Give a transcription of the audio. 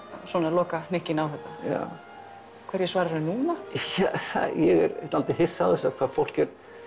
lokahnykkinn á þetta já hverju svararðu núna ja ég er dálítið hissa á þessu hvað fólk